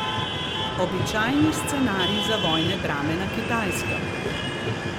Običajni scenarij za vojne drame na Kitajskem.